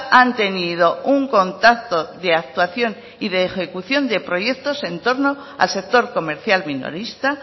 han tenido un contacto de actuación y de ejecución de proyectos en torno al sector comercial minorista